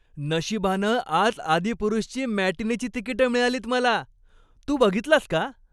नशिबानं आज 'आदिपुरुष'ची मॅटिनीची तिकिटं मिळालीत मला. तू बघितलास का?